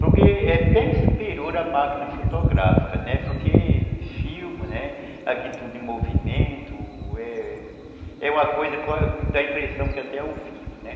porque é bem superior a máquina fotográfica, né, porque filma, aquilo tudo em movimento, é uma coisa que dá a impressão que é até ao vivo, né.